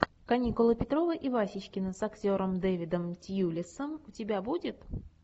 каникулы петрова и васечкина с актером дэвидом тьюлисом у тебя будет